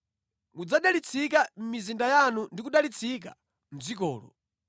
Mudzadalitsika mʼmizinda yanu ndi kudalitsika mʼdzikolo.